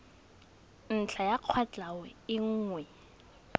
ntlha ya kwatlhao e nngwe